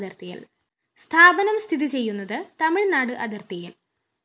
സ്ഥാപനം സ്ഥിതിചെയ്യുന്നത് തമിഴ്‌നാട് അതിര്‍ത്തിയില്‍